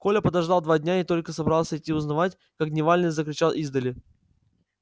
коля подождал два дня и только собрался идти узнавать как дневальный закричал издали